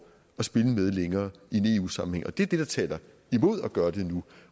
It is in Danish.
at spille med længere i en eu sammenhæng og det er det der taler imod at gøre det nu